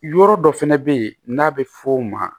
Yɔrɔ dɔ fɛnɛ be yen n'a bɛ f'o ma